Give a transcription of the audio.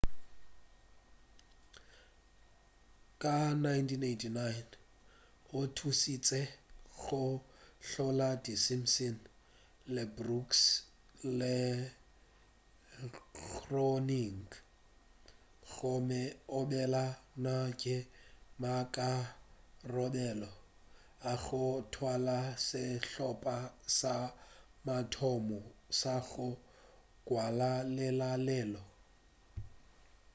ka 1989 o thušitše go hlola di simpsons le brooks le groening gomme o be a na le maikarabelo a go thwala sehlopa sa mathomo sa go ngwala lenaneo